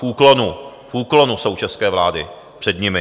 V úklonu, v úklonu jsou české vlády před nimi!